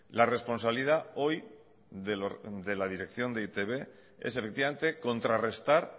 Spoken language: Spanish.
la responsabilidad hoy de la dirección de e i te be es efectivamente contrarrestar